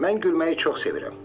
Mən gülməyi çox sevirəm.